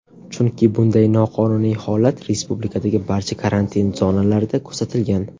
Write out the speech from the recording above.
Chunki bunday noqonuniy holat respublikadagi barcha karantin zonalarida kuzatilgan.